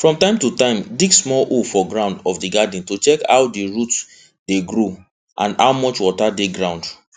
from time to time dig small hole for ground of di garden to check how roots dey grow and how much water dey ground